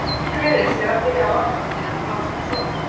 En ætlar íslenska liðið sér að byrja af varkárni eða blása til sóknar?